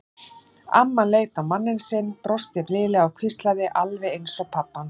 Amman leit á manninn sinn, brosti blíðlega og hvíslaði: Alveg eins og pabbi hans.